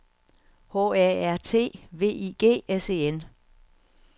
H A R T V I G S E N